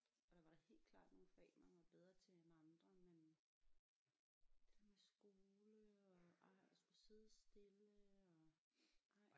Og der var da helt klart nogle fag man var bedre til end andre men det med skole og ej at skulle sidde stille og ej